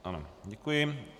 Ano, děkuji.